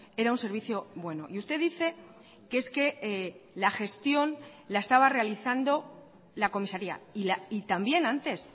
era un servicio bueno y usted dice que es que la gestión la estaba realizando la comisaría y también antes